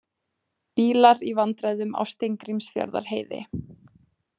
Bílar í vandræðum á Steingrímsfjarðarheiði